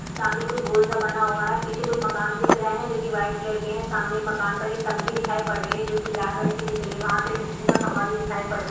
सामने कुछ गोल सा बना हुवा है पीछे कुछ मकान दिख रहा है जो की वाईट कलर के है सामने एक मकान की टंकी दिखायी पड़ रही है जो की लाल रंग की दिख रही है वाह पे बिजली का खभा भी दिखाय पड़ रहा है।